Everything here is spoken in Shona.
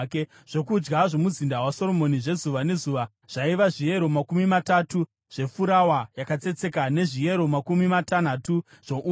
Zvokudya zvomuzinda waSoromoni zvezuva nezuva zvaiva zviyero makumi matatu zvefurawa yakatsetseka nezviyero makumi matanhatu zvoupfu,